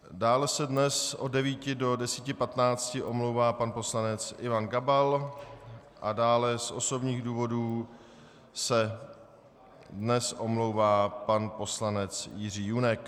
Dále se dnes od 9 do 10.15 omlouvá pan poslanec Ivan Gabal a dále z osobních důvodů se dnes omlouvá pan poslanec Jiří Junek.